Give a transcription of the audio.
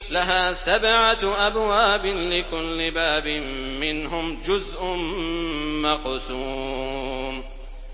لَهَا سَبْعَةُ أَبْوَابٍ لِّكُلِّ بَابٍ مِّنْهُمْ جُزْءٌ مَّقْسُومٌ